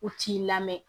U t'i lamɛn